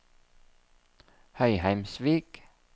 Høyheimsvik